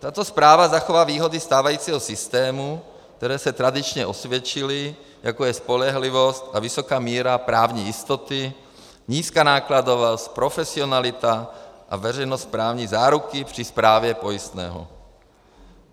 Tato správa zachová výhody stávajícího systému, které se tradičně osvědčily, jako je spolehlivost a vysoká míra právní jistoty, nízká nákladovost, profesionalita a veřejnost právní záruky při správě pojistného.